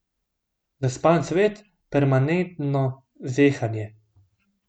Zaspan svet, permanentno zehanje.